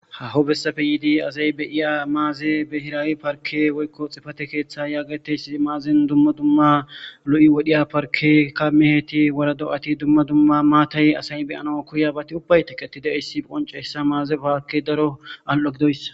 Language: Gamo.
hahobessafe yiidi azaybeyiya maaze behiraawi parke woykko xifate keeththa yaagateyssi maazin dumma dumma lo7i wodhiya parke kamiheeti wara do7ati dumma dumma maatay asay beyana kuyabati ubbayteketi de issi qonceyssa maaze paake daro al7agidoyssa